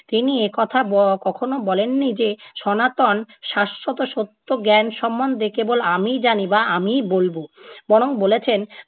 তিনি একথা ব~ কখনও বলেননি যে সনাতন শাশ্বত সত্য জ্ঞান সম্বন্ধে কেবল আমিই জানি বা আমিই বলবো। বরং বলেছেন,